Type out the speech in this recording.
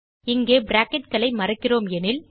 இங்கே bracketகளை மறக்கிறோம் எனில்